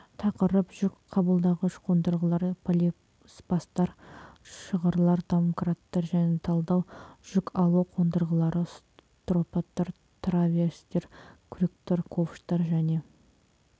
тақырып жүк қабылдағыш қондырғылар полиспасттар шығырлар домкраттар және талдар жүк алу қондырғылары строптар траверстер крюктар ковштар және